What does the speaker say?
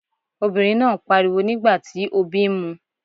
Obìnrin náà ń pariwo nígbà tí obí ń mu.